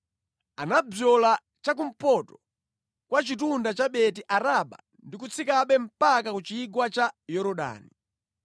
Anabzola cha kumpoto kwa chitunda cha Beti Araba ndi kutsikabe mpaka ku chigwa cha Yorodani.